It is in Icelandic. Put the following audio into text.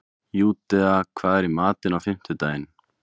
Júdea, hvað er í matinn á fimmtudaginn?